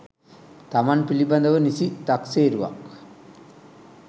තමන් පිළිබඳව නිසි තක්සේරුවක්